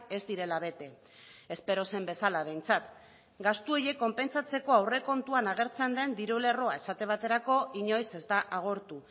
ez direla bete espero zen bezala behintzat gastu horiek konpentsatzeko aurrekontuan agertzen den diru lerroa esate baterako inoiz ez da agortu